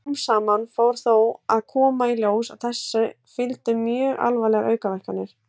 Smám saman fór þó að koma í ljós að þessu fylgdu mjög alvarlegar aukaverkanir.